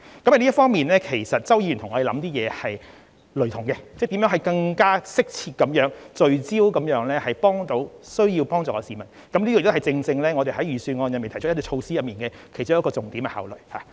在這方面，周議員的想法與我們是相同的，就是考慮如何更加適切和聚焦地幫助需要幫忙的市民，這亦正正是我們在預算案中提出措施時的重點考慮。